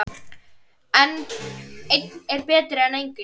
Einn er betri en enginn!